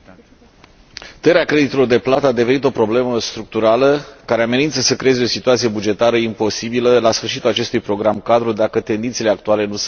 Tăierea creditelor de plată a devenit o problemă structurală, care amenință să creeze o situație bugetară imposibilă la sfârșitul acestui program cadru, dacă tendințele actuale nu sunt corectate.